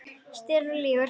Stelur og lýgur!